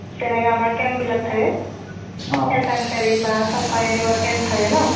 যেনেকুৱা আমাৰ camp বিলাক থাকে চাংচাৰী বা চপা এনেকুৱা camp থাকে ন